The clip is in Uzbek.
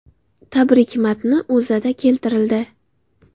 Tabrik matni O‘zAda keltirildi .